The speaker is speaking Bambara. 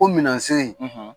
O minɛsiri